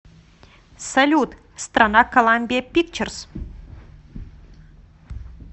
салют страна коламбиа пикчерз